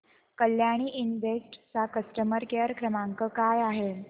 Kalyani invest चा customer care क्रमांक काय आहे